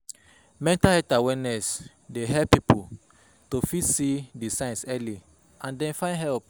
Mental health awareness dey help pipo to fit see di signs early and then find help